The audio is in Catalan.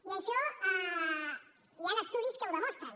i això hi han estudis que ho demostren